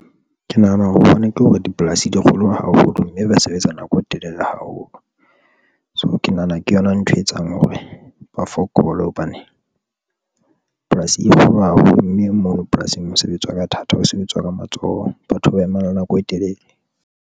Ke nahana hore bona ke hore dipolasi di kgolo haholo mme ba sebetsa nako e telele haholo. So ke nahana ke yona ntho etsang hore ba fokole, hobane polasi e kgolo haholo mme mono polasing mosebetsi wa ka thata ho sebetsa ka matsoho. Batho ba emang nako e telele.